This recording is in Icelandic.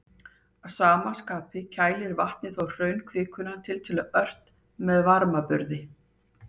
Að sama skapi kælir vatnið þá hraunkvikuna tiltölulega ört með varmaburði.